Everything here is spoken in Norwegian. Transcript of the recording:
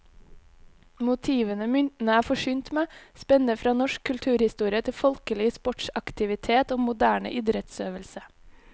Motivene myntene er forsynt med, spenner fra norsk kulturhistorie til folkelig sportsaktivitet og moderne idrettsøvelse.